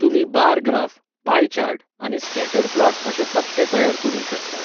तुमी bar graph, pie chart, आनी scatter plot अशे तकटे तयार करूंक शकतात.